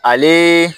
Ale